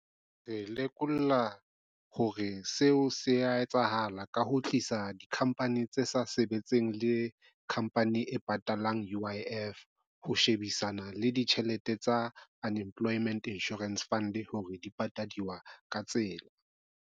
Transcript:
Re lekola hore seo se ya etsahala ka ho tlisa dikhampani tse sa sebetseng le khampani e patalang U_I_F ho shebisana le ditjhelete tsa Unemployment Insurance Fund hore di patadiwa ka tsela.